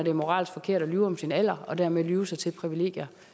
er moralsk forkert at lyve om sin alder og dermed lyve sig til privilegier